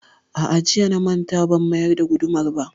A'a, jiya na manta ban mayar da gudumar ba